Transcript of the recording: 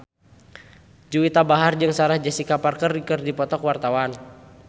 Juwita Bahar jeung Sarah Jessica Parker keur dipoto ku wartawan